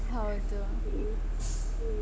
ಹೌದು.